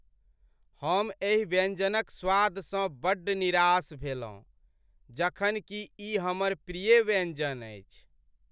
हम एहि व्यंजनक स्वादसँ बड़ निराश भेलहुँ जखन कि ई हमर प्रिय व्यंजन अछि।